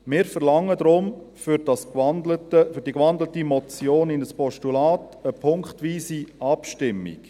Deshalb verlangen wir für die in ein Postulat gewandelte Motion punktweise Abstimmung.